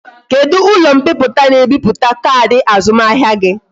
Kedu ulo mpiputa na e biputa kaadi azumahia gi?